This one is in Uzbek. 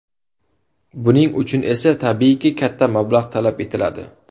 Buning uchun esa tabiiyki katta mablag‘ talab etiladi.